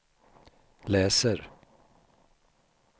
läser